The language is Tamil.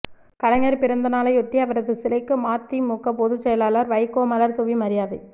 கலைஞர் பிறந்தநாளையொட்டி அவரது சிலைக்கு மதிமுக பொதுச்செயலாளர் வைகோ மலர்தூவி மரியாதை